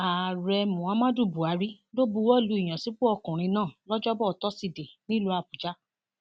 ààrẹ muhammadu buhari ló buwọ lu ìyànsípò ọkùnrin náà lọjọbọ tosidee nílùú àbújá